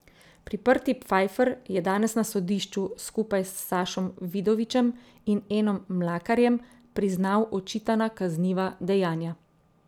Priprti Pfajfer je danes na sodišču skupaj s Sašom Vidovičem in Enom Mlakarjem priznal očitana kazniva dejanja.